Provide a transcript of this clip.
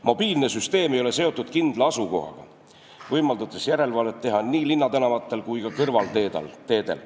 Mobiilne süsteem ei ole seotud kindla asukohaga, võimaldades järelevalvet teha nii linnatänavatel kui ka kõrvalteedel.